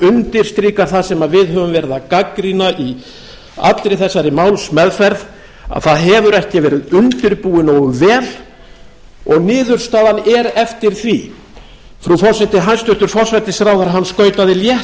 undirstrikar það sem við höfum verið að gagnrýna í allri þessari málsmeðferð að það hefur ekki verið undirbúið nógu vel og niðurstaðan er eftir því frú forseti hæstvirtur forsætisráðherra skautaði létt